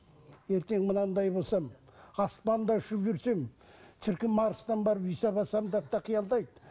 ертең мынындай болсам аспанда ұшып жүрсем шіркін марстан барып үй салып алсам деп те қиялдайды